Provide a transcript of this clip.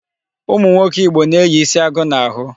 Ụmụnwoke Igbo na-eyi isi agụ n'ahụ.